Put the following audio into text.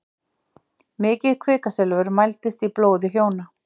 Mikið kvikasilfur mældist í blóði hjóna